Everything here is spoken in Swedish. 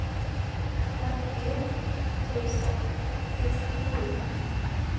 fyrtio tusen sextionio